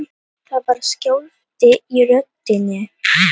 Það var skjálfti í röddinni.